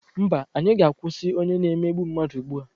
Mba, anyị ga-akwụsị onye na-emegbu mmadụ ugbu a!